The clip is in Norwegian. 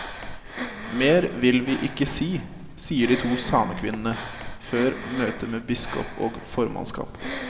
Mer vil vi ikke si, sier de to samekvinnene før møtet med biskop og formannskap.